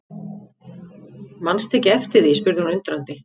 Mannstu ekki eftir því spurði hún undrandi.